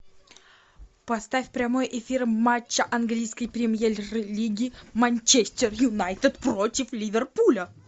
поставь прямой эфир матча английской премьер лиги манчестер юнайтед против ливерпуля